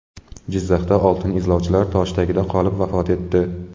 Jizzaxda oltin izlovchilar tosh tagida qolib vafot etdi.